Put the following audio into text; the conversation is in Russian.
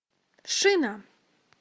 шина